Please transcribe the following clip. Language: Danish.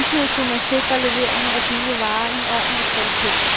Samtidig kunne man sikre leveringen af billig varer i ordentlig kvalitet.